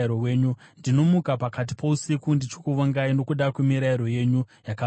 Ndinomuka pakati pousiku ndichikuvongai nokuda kwemirayiro yenyu yakarurama.